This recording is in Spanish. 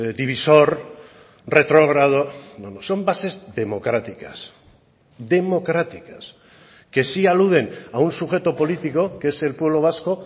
divisor retrógrado no no son bases democráticas democráticas que sí aluden a un sujeto político que es el pueblo vasco